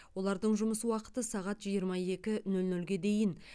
олардың жұмыс уақыты сағат жиырма екі нөл нөлге дейін